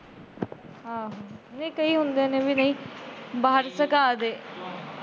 ਆਹੋ, ਨਹੀਂ ਕਈ ਹੁੰਦੇ ਨੇ ਵੀ ਬਾਹਰ